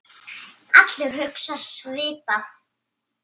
Allir hugsa svipað.